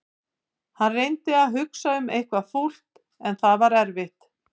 Hann reyndi að hugsa um eitthvað fúlt en það var erfitt.